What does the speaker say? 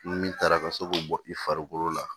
Ni min taara ka se k'o bɔ i farikolo la